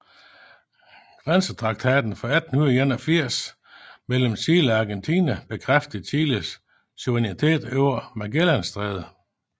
Grænsetraktaten fra 1881 mellem Chile og Argentina bekræftede Chiles suverænitet over Magellanstrædet